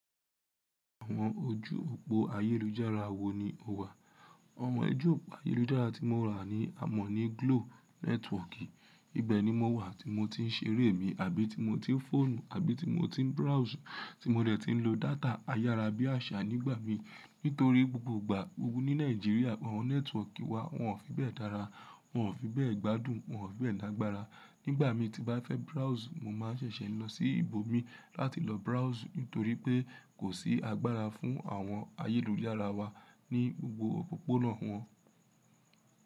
Àwọn ojú òpó ayélujára wo ni o wà? Àwọn ojú òpó ayélujára tí mo rà ni a mọ̀ ní Glo network. Ibẹni mo wà tí mo ti ń ṣeré mi àbí tí mo ti ń fọ́ọ̀nù àbí tí mo ti ń browse tí mo dẹ̀ ti ń lo data ayára bí àṣà nígbà mi. Nítorí gbogbo ìgbà gbogbo ní Nàìjíríà àwọn network wa wọ́n ò fi bẹ́ẹ̀ dára, wọ́n ò fi bẹ́ẹ̀ gbádùn, wọ́n ò fi bẹ́ẹ̀ lágbára. Nígbà mo tí bá fẹ́ browse, mo máa ṣẹ̀ṣẹ̀ lọ sí ibo mi láti lọ browse nítorí pé kò sí agbára fún àwọn ayélujára wa ní gbogbo òpópónà wọn.